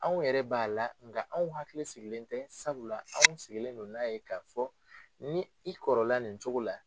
Anw yɛrɛ b'a la nka anw hakili sigilen tɛ sabula anw sigilen don n'a ye k'a fɔ ni i kɔrɔla nin cogo la